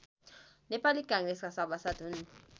नेपाली काङ्ग्रेसका सभासद हुन्